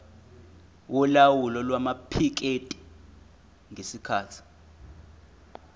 yolawulo lwamaphikethi ngesikhathi